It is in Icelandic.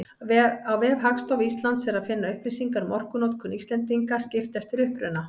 Á vef Hagstofu Íslands er að finna upplýsingar um orkunotkun Íslendinga, skipt eftir uppruna.